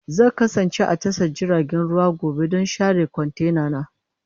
Zan kasance a tashar jiragen ruwa gobe don share kwantenana.